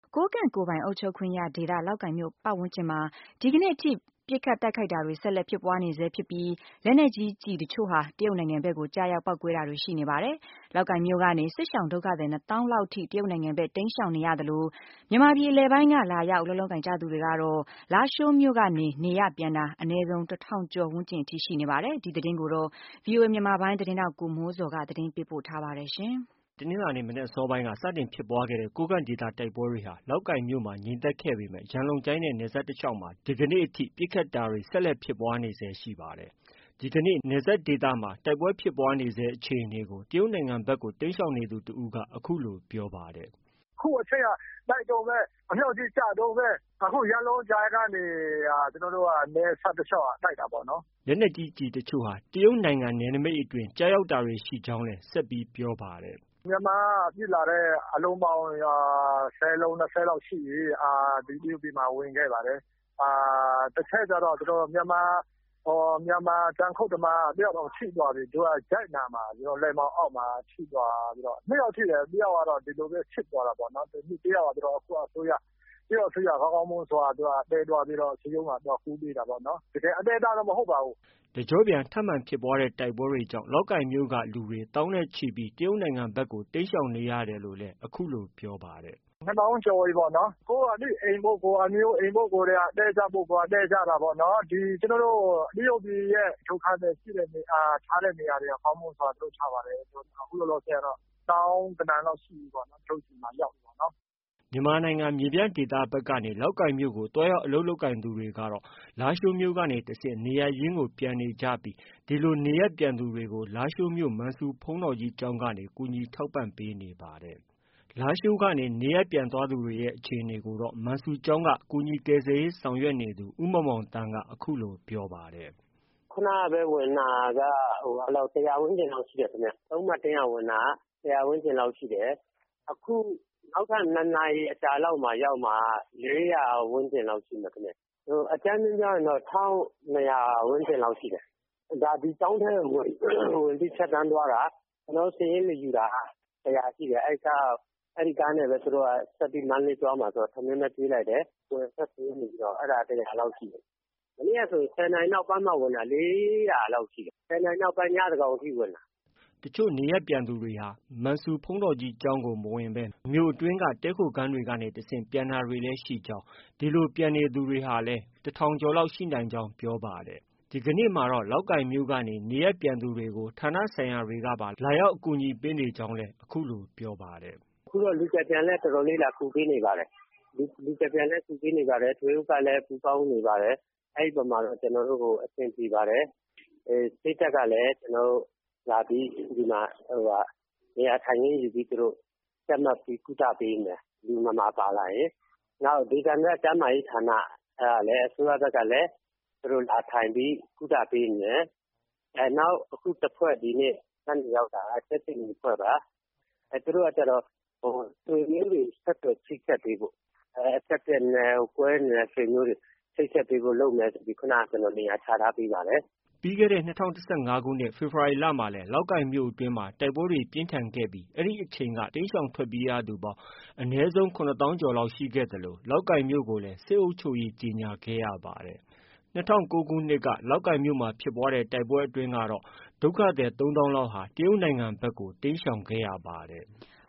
ကိုးကန့်ကိုယ်ပိုင်အုပ်ချုပ်ခွင့်ရဒေသ လောက်ကိုင်မြို့ဝန်းကျင်မှာ ဒီကနေ့ထိ ပစ်ခတ်တိုက်ခိုက်တာတွေ ဆက်လက်ဖြစ်ပွားနေဆဲရှိပြီး လက်နက်ကြီးကျည်တချို့ဟာ တရုတ်နိုင်ငံဘက်ကို ကျရောက် ပေါက်ကွဲတာတွေ ရှိနေပါတယ်။ လောက်ကိုင်မြို့ကနေ စစ်ရှောင်ဒုက္ခသည် ၂သောင်းလောက်ထိ တရုတ်နိုင်ငံဖက် တိမ်းရှောင်နေသလို မြန်မာပြည် အလယ်ပိုင်းက လာရောက်အလုပ်လုပ်ကိုင်သူတွေ ကတော့ လားရှိုးမြို့ကနေ နေရပ်ပြန်တာ အနည်းဆုံး ၁ထောင်ကျော်ဝန်းကျင်အထိရှိနေပါတယ်။ ဒီသတင်းကိုတော့ ဗွီအိုအေမြန်မာပိုင်းရဲ့သတင်းထောက် ကိုမိုးဇော်က တင်ပြထားပါတယ်။ တနင်္လာနေ့ မနက်အစောပိုင်းက စတင်ဖြစ်ပွားခဲ့တဲ့ ကိုးကန့်ဒေသ တိုက်ပွဲတွေဟာ လောက်ကိုင်မြို့မှာ ငြိမ်သက်ခဲ့ပေမယ့် ရန်လုံကျိုင်းနဲ့ နယ်စပ်တလျှောက်မှာ ဒီကနေ့ ပစ်ခတ်တာတွေ ဆက်လက်ဖြစ်ပွားနေဆဲရှိနေပါတယ်။ ဒီကနေ့ နယ်စပ်ဒေသမှာ ဖြစ်ပွားနေဆဲအခြေအနေကို တရုတ်နိုင်ငံဖက်ကို တိမ်းရှောင်နေသူ တဦးက အခုလို ပြောပါတယ်။ “အခုအထိက တိုက်တုန်းပဲ ၊ အမြောက်တွေလည်းကျတုန်းပဲ ရန်လုံကျိုင်းနဲ့ နယ်စပ်တလျှောက်မှာ တိုက်နေတာ။” လက်နက်ကြီး ကျည်တချို့ဟာ တရုတ်နိုင်ငံနယ်နမိတ်အတွင်း ကျရောက်တာတွေရှိကြောင်းလည်း ဆက်ပြောပါတယ်။ “မြန်မာက ပစ်လာတဲ့ အလုံးပေါင်း ၁၀ လုံး-၂၀ လုံးလောက်ရှိပြီ ဒီတရုတ်ပြည်မှာ ဝင်ခဲ့ပါတယ်။ တခုတော့ မြန်မာ တောင်ယာခုတ်သမား ၁ ယောက်တောင်ထိသွားပြီ ၊ လက်မောင်းအောက်မှာ ထိသွားတယ်။ ၂ ယောက်ထိတယ် ၁ ယောက်ကတော့ တရုတ်အစိုးရက ကောင်းကောင်းမွန်မွန်သယ်သွားပြီးတော့ တရုတ်မှာ သွားကုပေးတာပေါ့နော်။” တကျော့ပြန်ထပ်မံဖြစ်ပွားတဲ့ တိုက်ပွဲတွေကြောင့် လောက်ကိုင်မြို့က လူသောင်းနဲ့ချီပြီး တရုတ်နိုင်ငံဖက်ကိုတိမ်းရှောင်နေကြောင်းလည်း ပြောပါတယ်။ “၂ သောင်းကျော်ပြီပေါ့နော်၊ ကိုယ့်အသိအိမ်၊ ကိုယ့်အမျိုးအိမ်ရှိတဲ့လူတွေက သွားတည်း ကြတာပေါ့နော် ၊ အခု တရုတ်ပြည် ဒုက္ခသည်ထားတဲ့ နေရာတွေက ကောင်းမွန်စွာလုပ်ထားပါတယ်။ အခုလောလောဆယ်ကတော့ သောင်းဂဏန်းလောက်ရှိပြီပေါ့နော် ဒီမှာ ရောက်နေကြတာ။” မြန်မာနိုင်ငံ မြေပြန့်ဒေသဖက်ကနေ လောက်ကိုင်မြို့ကို သွားရောက်အလုပ်လုပ်သူတွေကတော့ လားရှိုးကနေတဆင့် နေရပ်ရင်းကို ပြန်နေကြပြီး ဒီလို နေရပ်ပြန်သူတွေကို လားရှိုးမြို့ မန်ဆူဘုန်းတော်ကြီးကျောင်းကနေ ကူညီထောက်ပံ့ပေးနေပါတယ်။ လားရှိုးက နေရပ်ပြန်သွားသူတွေရဲ့ အခြေအနေကိုတော့ မန်ဆူကျောင်းက ကူညီကယ်ဆယ်ရေး ဆောင်ရွက်နေသူ ဦးမောင်မောင်သန်းက အခုလို ပြောပါတယ်။ “ခုနကပဲ ဝင်လာတာက ၁၀၀ ဝန်းကျင်လောက်ရှိတယ်ခင်ဗျ။ ၃ နာရီလောက်က ဝင်တာက ၁၀၀ ဝန်းကျင်လောက်ရှိတယ်။ အခု နောက်ထပ် ၂ နာရီအကြာမှာ ရောက်မှာက ၄၀၀ ဝန်းကျင်လောက်ရှိမယ်။ အကြမ်းဖျဉ်းပြောရင်တော့ ၁၂၀၀ ဝန်းကျင်လောက်တော့ရှိတယ်ခင်ဗျ။ ဒီကျောင်းထဲဝင်ပြီး ဖြတ်သွားတာ ကျနော်တို့ စာရင်းမယူတာကတော့ ၁၀၀ ကျော်ရှိတယ်ခင်ဗျ။ သူတို့က ကားနဲ့ မန္တလေးသွားမှာဆိုတော့ ကျနော်တို့ ထမင်းတွေကျွေးလိုက်တယ် အဲဒါ ၁၀၀ ကျော်ရှိတယ်ခင်ဗျ ။ မနေ့ကဆိုရင် ၁၀ နာရီနောက်ပိုင်းမှ ဝင်တာ ၄၀၀ လောက်ရှိတယ် ၁၀ နာရီနောက်ပိုင်း ညသန်းခေါင်အထိ ဝင်တာ။” တချို့နေရပ်ပြန်သူတွေဟာ မန်ဆူဘုန်းတော်ကြီးကျောင်းကို မဝင်ဘဲ မြို့အတွင်းက တည်းခိုခန်းတွေကနေတဆင့် ပြန်တာတွေလည်း ရှိကြောင်း၊ ဒီလို ပြန်နေသူတွေဟာလည်း ၁ထောင် ကျော်လောက် ရှိနိုင်ကြောင်း ပြောပါတယ်။ ဒီကနေ့မှာတော့ လောက်ကိုင်ကနေ နေရပ်ပြန်သူတွေကို ဌာနဆိုင်ရာတွေကပါ လာရောက် ကူညီပေးနေကြောင်းလည်း အခုလို ပြောပါတယ်။ “အခုတော့ လူကယ်ပြန်လည်း တော်တော်လေး လာကူပေးနေပါတယ်။ လူကယ်ပြန်လည်းကူညီတယ် ထွေအုပ်ကလည်း ပူးပေါင်းကူညီနေပါတယ်။ အဲဒီအပေါ်မှာ ကျနော်တို့ အဆင်ပြေပါတယ် စစ်တပ်ကလည်း ဒီမှာ နေရာထိုင်ခင်းယူပြီး ကျပ်မှတ်ပြီးကုသပေးနေပါတယ် လူနာပါလာရင်။ နောက် ဒေသန္တရ ကျန်းမာရေးဌာနကနေပြီးတော့လည်း အစိုးရဘက်ကလည်း သူတို့လာထိုင်ပြီးကုသပေးနေတယ်။ နောက်အခုတဖွဲ့ဒီနေ့ညနေရောက်တာ ကြက်ခြေနီတဖွဲ့ပါ သူတို့က ဆွေမျိုးတွေချိတ်ဆက်ပေးဖို့ ၊ ကွဲနေတဲ့ ဆွေမျိုးတွေ ကိုဆက်သွယ်ပေးဖို့လုပ်မယ်ဆိုပြီး ခုနက ကျနော်နေရာချထားပေးပါတယ်။” ပြီးခဲ့တဲ့ ၂၀၁၅ခုနှစ် ဖေဖော်ဝါရီလမှာလည်း လောက်ကိုင်မြို့မှာ တိုက်ပွဲပြင်းထန်ခဲ့ပြီး အဲဒီအချိန်က လောက်ကိုင်မြို့ကနေ တိမ်းရှောင်ထွက်ပြေးရသူပေါင်း အနည်းဆုံး ၇သောင်းကျော်လောက်ရှိခဲ့သလို လောက်ကိုင်မြို့ကိုလည်း စစ်အုပ်ချုပ်ရေးကြေညာခဲ့ရပါတယ်။ ၂၀၀၉ခုနှစ်က ဖြစ်ပွားတဲ့ တိုက်ပွဲအတွင်းမှာတော့ ဒုက္ခသည် ၃သောင်းကျော်လောက် တရုတ်နိုင်ငံဖက်ကို တိမ်းရှောင်ခဲ့ပါတယ်။